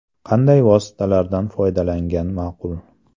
Qanday vositalardan foydalangan maqul?